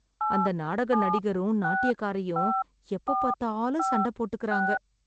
அந்த நாடக நடிகரும், நாட்டியக்காரியும் எப்பப்பாத்தாலும் சண்டை போட்டுக்கறாங்க.